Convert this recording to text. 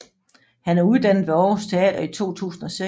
Han er uddannet ved Århus Teater i 2006